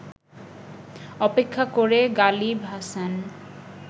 অপেক্ষা করে গালিব হাসান